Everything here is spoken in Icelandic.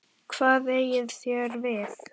Hvað eigið þér við?